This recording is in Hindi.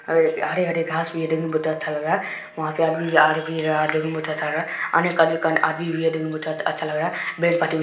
हरे-हरे घास भी है देखने में बहोत ही अच्छा लग वहाँ पे आदमी जा रहा है देखने में बहोत अच्छा लग रहा है एक आदमी देखने में बहोत अच्छा लग रहा है।